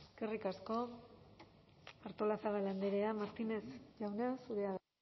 eskerrik asko artolazabal andrea martínez jauna zurea da